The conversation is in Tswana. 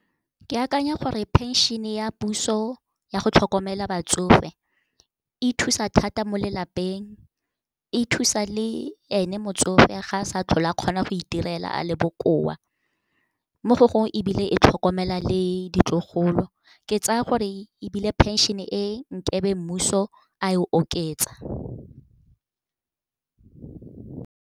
Ke akanya gore pension-e ya puso ya go tlhokomela batsofe, e thusa thata mo lelapeng, e thusa le ene motsofe ga a sa tlhole a kgona go itirela a le bokoa, mo go gongwe, ebile e tlhokomela le ditlogolo. Ke tsaya gore ebile pension-e e, nkebe mmuso a e oketsa.